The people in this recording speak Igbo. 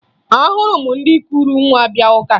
Ahụrụ m ndị kuru nwa bịa ụka